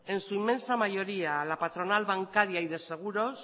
en su inmensa mayoría a la patronal bancaria y de seguros